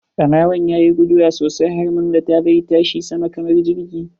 Ɓarawon yayi guduwa sosai har mun zata zai tashi sama kamar jirgi.